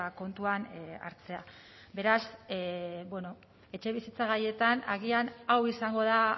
kontuan hartzea beraz bueno etxebizitza gaietan agian hau izango da